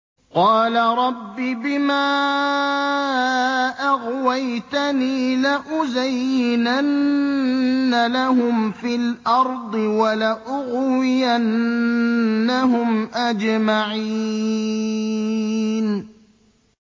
قَالَ رَبِّ بِمَا أَغْوَيْتَنِي لَأُزَيِّنَنَّ لَهُمْ فِي الْأَرْضِ وَلَأُغْوِيَنَّهُمْ أَجْمَعِينَ